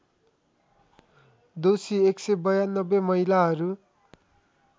दोषी १९२ महिलाहरू